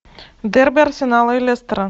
дерби арсенала и лестера